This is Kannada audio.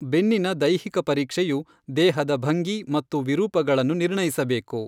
ಬೆನ್ನಿನ ದೈಹಿಕ ಪರೀಕ್ಷೆಯು ದೇಹದ ಭಂಗಿ ಮತ್ತು ವಿರೂಪಗಳನ್ನು ನಿರ್ಣಯಿಸಬೇಕು.